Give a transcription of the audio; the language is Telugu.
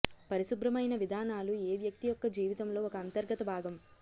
పరిశుభ్రమైన విధానాలు ఏ వ్యక్తి యొక్క జీవితంలో ఒక అంతర్గత భాగం